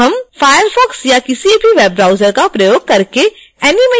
हम firefox या किसी भी वेब ब्राउजर का प्रयोग करके animation चला सकते हैं